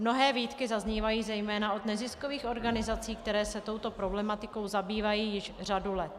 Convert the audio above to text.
Mnohé výtky zaznívají zejména od neziskových organizací, které se touto problematikou zabývají již řadu let.